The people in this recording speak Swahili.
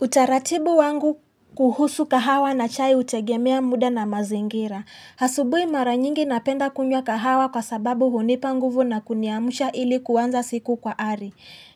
Utaratibu wangu kuhusu kahawa na chai hutegemea muda na mazingira. Asubuhi mara nyingi napenda kunywa kahawa kwa sababu hunipa nguvu na kuniamsha ili kuanza siku kwa ari.